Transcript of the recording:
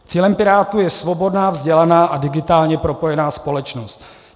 Cílem Pirátů je svobodná, vzdělaná a digitálně propojená společnost.